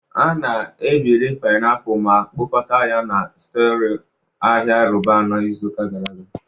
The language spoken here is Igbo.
A na-ebiri painiapulu ma kpokọta ya na Storelọ Ahịa Roban n'izu gara aga